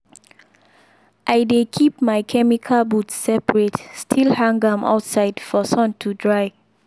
i dey keep my chemical boot separate still hang am outside for sun to dry